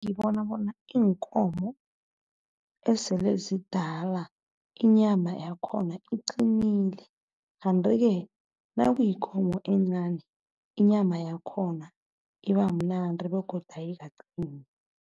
Ngibona bona iinkomo esele zizidala inyama yakhona iqinilele. Kandi-ke nakuyikomo encani, inyama yakhona ibamnandi begodu ayikaqini.